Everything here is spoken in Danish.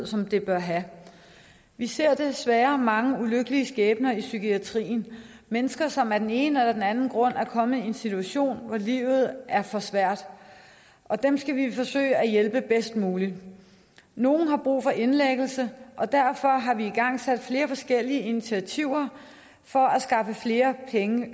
som det bør have vi ser desværre mange ulykkelige skæbner i psykiatrien mennesker som af den ene eller den anden grund er kommet i en situation hvor livet er for svært og dem skal vi forsøge at hjælpe bedst muligt nogle har brug for indlæggelse og derfor har vi igangsat flere forskellige initiativer for at skaffe flere